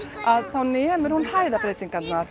þá nemur hún